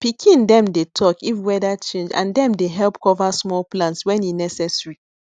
pikin dem dey talk if weather change and dem dey help cover small plants wen e necessary